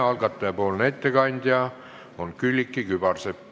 Algataja nimel teeb ettekande Külliki Kübarsepp.